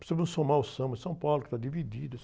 Precisamos somar ao Samba de São Paulo, que está dividido.